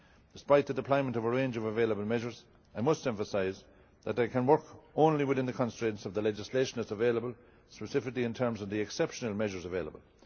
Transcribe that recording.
Despite the deployment of a range of available measures, I must emphasise that I can work only within the constraints of the legislation that is available, specifically in terms of the exceptional measures available.